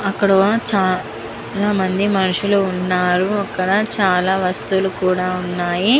అక్కడ చా ల మంది మనుషులు వున్నారు అకడ చాల వస్తువులు కూడా వున్నాయి.